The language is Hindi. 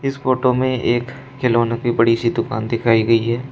इस फोटो में एक खिलौने की बड़ी सी दुकान दिखाई दे रही है।